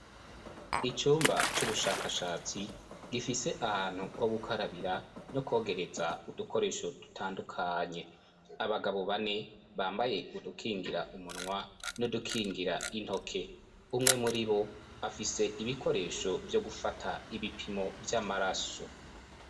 Icyumba cy'ubushakashatsi, gifise ahantu ho gukarabira no kwogereza udukoresho dutandukanye. Abagabo bane bambaye udukingira umunwa n'udukingira intoke. Umwe muri bo, afise ibikoresho byo gufata ibipimo by'amaraso.